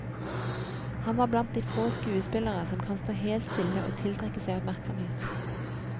Han var blant de få skuespillere som kan stå helt stille og tiltrekke seg oppmerksomhet.